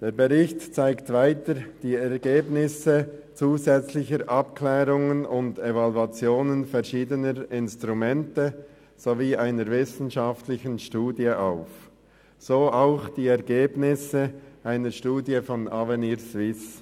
Der Bericht zeigt weiter die Ergebnisse zusätzlicher Abklärungen und Evaluationen verschiedener Instrumente sowie einer wissenschaftlichen Studie auf, so auch die Ergebnisse einer Studie von Avenir Suisse.